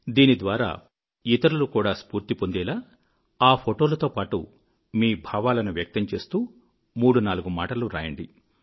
దీనిద్వారా ఇతరులు కూడా స్ఫూర్తి పొందేలా ఆ ఫోటోలతో పాటు మీ భావాలను వ్యక్తం చేస్తూ మూడు నాలుగు మాటలు వ్రాయండి